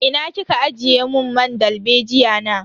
Ina kika ajiye mun man dalbejiya na?